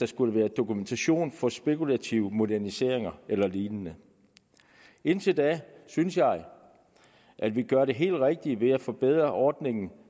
skulle være dokumentation for spekulative moderniseringer eller lignende indtil da synes jeg at vi gør det helt rigtige ved at forbedre ordningen